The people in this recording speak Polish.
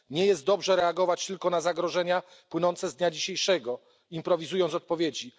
Nie jest dobrze reagować tylko na zagrożenia płynące z dnia dzisiejszego, improwizując odpowiedzi.